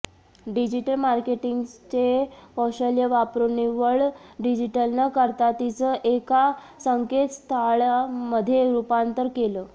digital मार्केटिंगचे कौशल्य वापरून निव्वळ डिजिटल न करता तिचं एका संकेतस्थळामध्ये रूपांतर केलं